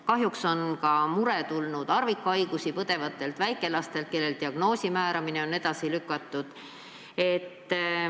Kahjuks on murepöördumisi tulnud ka harvikhaigusi põdevate väikelaste kohta, kelle puhul diagnoosi määramine on edasi lükatud.